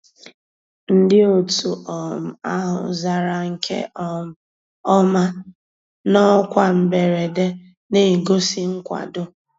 Ndị́ ótú um àhụ́ zàrà nkè um ọ́má ná ọ́kwá mbérèdé, ná-ègósì nkwàdó.